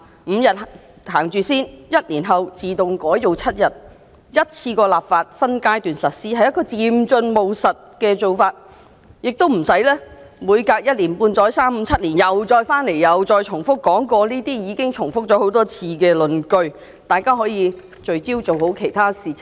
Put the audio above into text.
先推行5天 ，1 年後自動增至7天，一次過立法，然後再分階段實施，是一個漸進、務實的做法，亦無須每隔一年半載，或三五七年後又再回到立法會，讓大家重複這些已經討論多次的論據，這樣，大家就可以聚焦做好其他事情。